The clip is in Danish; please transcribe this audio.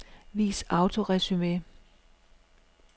Vis autoresumé.